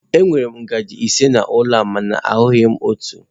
Enwere m ngaji ise n'ụlọ a mana ahụghị m otu.